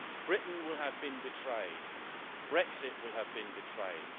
Britain will have been betrayed. Brexit will have been betrayed.